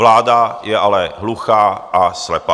Vláda je ale hluchá a slepá.